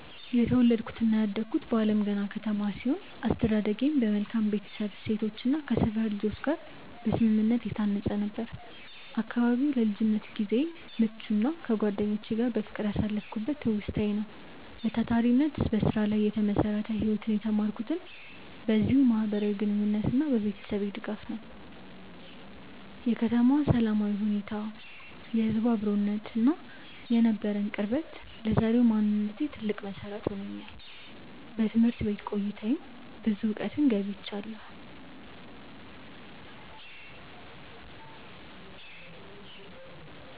የተወለድኩትና ያደግኩት በአለምገና ከተማ ሲሆን፣ አስተዳደጌም በመልካም የቤተሰብ እሴቶችና ከሰፈር ልጆች ጋር በስምምነት የታነጸ ነበር። አካባቢው ለልጅነት ጊዜዬ ምቹና ከጓደኞቼ ጋር በፍቅር ያሳለፍኩበት ትውስታዬ ነው። በታታሪነትና በስራ ላይ የተመሰረተ ህይወትን የተማርኩትም በዚሁ ማህበራዊ ግንኙነትና በቤተሰቤ ድጋፍ ነው። የከተማዋ ሰላማዊ ሁኔታ፣ የህዝቡ አብሮነትና የነበረን ቅርበት ለዛሬው ማንነቴ ትልቅ መሰረት ሆኖኛል። በትምህርት ቤት ቆይታዬም ብዙ እውቀትን ገብይቻለሁ።